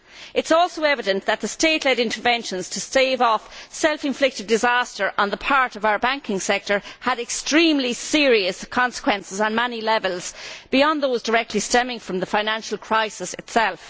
It is also evident that the state led interventions to stave off self inflicted disaster on the part of our banking sector had extremely serious consequences on many levels beyond those directly stemming from the financial crisis itself.